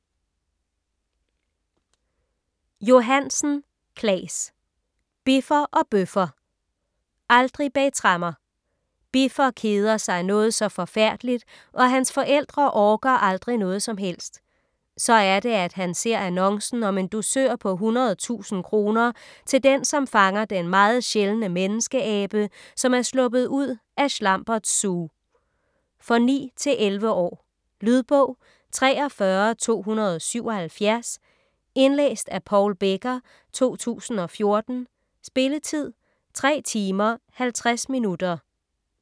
Johansen, Claes: Biffer og Bøffer Aldrig bag tremmer!: Biffer keder sig noget så forfærdeligt og hans forældre orker aldrig noget som helst. Så er det, at han ser annoncen om en dusør på 100.000 kr. til den, som fanger den meget sjældne menneskeabe, som er sluppet ud af Schlamberts Zoo. For 9-11 år. Lydbog 43277 Indlæst af Paul Becker, 2014. Spilletid: 3 timer, 50 minutter.